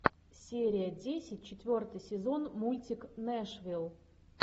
серия десять четвертый сезон мультик нэшвилл